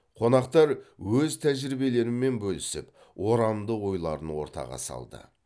қонақтар өз тәжірибелерімен бөлісіп орамды ойларын ортаға салды